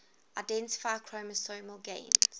identify chromosomal gains